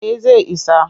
Eh zai isa